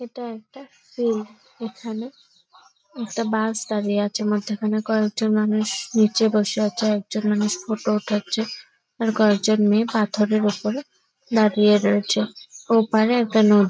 এটা একটা স্কুল | এখানে একটা বাস দাঁড়িয়ে আছে | মধ্যেখানে কয়েকজন মানুষ নিচে বসে আছে একজন মানুষ ফটো উঠাচ্ছে আর কয়েকজন মেয়ে পাথরের ওপরে দাঁড়িয়ে রয়েছে | ওপারে একটা নদী |